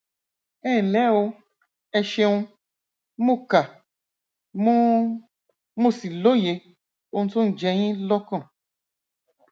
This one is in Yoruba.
dókítà ní oṣù tó kọjá mo mo yọ eyín ọpá òsì mi kúrò